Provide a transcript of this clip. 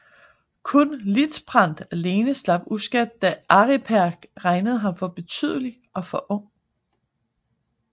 Kun Liutprand alene slap uskadt da Aripert regnede ham for ubetydelig og for ung